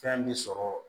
Fɛn bɛ sɔrɔ